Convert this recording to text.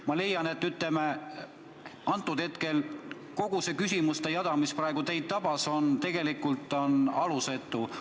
Ma leian, et kogu see küsimuste jada, mis praegu teid tabas, on tegelikult alusetu.